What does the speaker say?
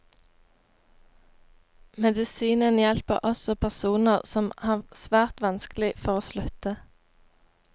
Medisinen hjelper også personer som har svært vanskelig for å slutte.